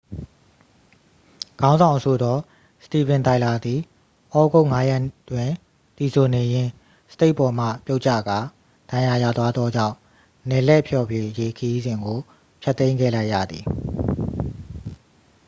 ခေါင်းဆောင်အဆိုတော် စတီဗင် တိုင်လာသည် ဩဂုတ် 5ရက်တွင် သီဆိုနေရင်း စတိတ်ပေါ်မှ ပြုတ်ကျကာ ဒဏ်ရာရသွားသောကြောင့် နယ်လှည့်ဖျော်ဖြေရေး ခရီးစဉ်ကို ဖျက်သိမ်းခဲ့လိုက်ရသည်